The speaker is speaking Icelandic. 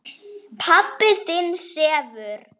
Pabbi þinn sefur.